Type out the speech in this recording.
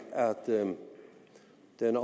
men